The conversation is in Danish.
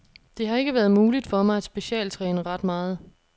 Det har ikke været muligt for mig at specialtræne ret meget.